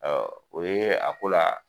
Ɔ o ye a ko la.